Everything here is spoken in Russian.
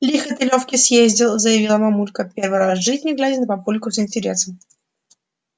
лихо ты лёвке съездил заявила мамулька первый раз в жизни глядя на папульку с интересом